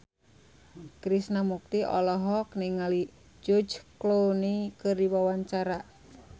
Krishna Mukti olohok ningali George Clooney keur diwawancara